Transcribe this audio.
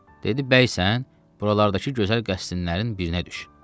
Dedi, bəysən, buralardakı gözəl qəsrdinlərinin birinə düş.